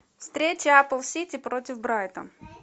встреча апл сити против брайтон